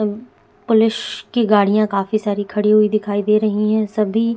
police की गाड़िया काफी सारी खड़ी हुई दिखाई दे रही है सभी--